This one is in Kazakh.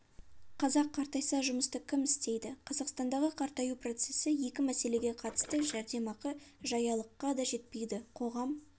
қазақ қартайса жұмысты кім істейді қазақстандағы қартаю процесі екі мәселеге қатысты жәрдемақы жаялыққа да жетпейді қоғам